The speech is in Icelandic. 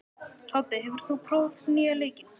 Tobbi, hefur þú prófað nýja leikinn?